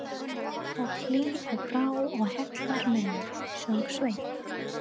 Og hýr á brá og heillar menn, söng Sveinn.